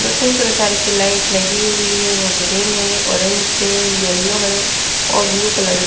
दो तीन प्रकार की लाइट लगी हुई है वो ग्रीन है ऑरेंज है येलो है और ब्लू कलर --